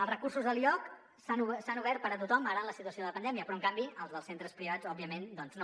els recursos a l’ioc s’han obert per a tothom ara en la situació de pandèmia però en canvi els dels centres privats òbviament doncs no